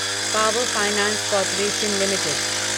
power Finance Corporation limited